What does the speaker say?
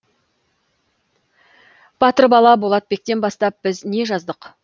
батыр бала болатбектен бастап біз не жаздық